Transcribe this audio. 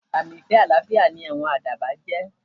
Àmì ìfẹ́ àlàáfíà ni àwọn àdàbà jẹ́.